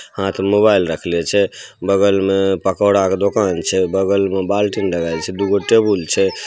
हाथ में मोबाईल रखले छे बगल मे पकोड़ा के दुकान छे बगल में बाल्टी में लगाएल छे दुगो टेबुल छे।